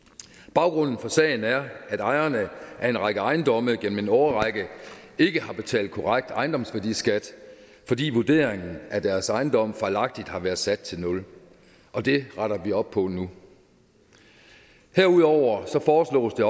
baggrunden for sagen er at ejerne af en række ejendomme gennem en årrække ikke har betalt korrekt ejendomsværdiskat fordi vurderingen af deres ejendomme fejlagtigt har været sat til nul og det retter vi op på nu herudover foreslås det